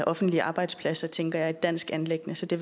offentlige arbejdspladser tænker jeg er et dansk anliggende så det